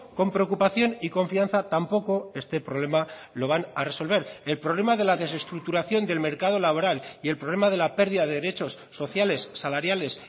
con preocupación y confianza tampoco este problema lo van a resolver el problema de la desestructuración del mercado laboral y el problema de la pérdida de derechos sociales salariales